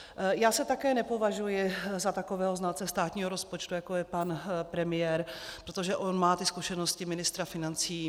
Já se také nepovažuji za takového znalce státního rozpočtu, jako je pan premiér, protože on má ty zkušenosti ministra financí.